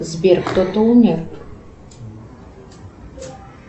сбер кто то умер